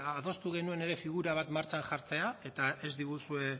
adostu genuen ere figura bat martxan jartzea eta ez diguzue